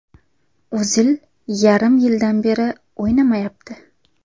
O‘zil yarim yildan beri o‘ynamayapti.